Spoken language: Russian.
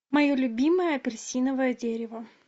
мое любимое апельсиновое дерево